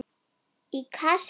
Í Kasmír